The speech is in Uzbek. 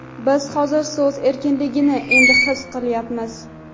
Biz hozir so‘z erkinligini endi his qilyapmiz.